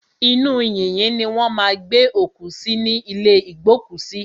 Inú yìnyín ni wọ́n má a ń gbé òkú sí ní ìlé ìgbókùsí.